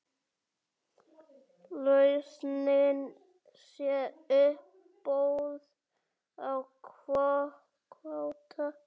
Lausnin sé uppboð á kvóta.